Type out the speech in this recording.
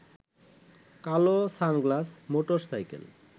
কালো sunglass, motor cycle